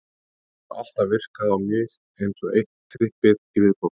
Þetta hefur alltaf virkað á mig eins og eitt trippið í viðbót.